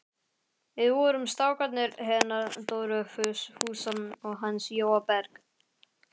Við vorum strákarnir hennar Dóru Fúsa og hans Jóa Berg.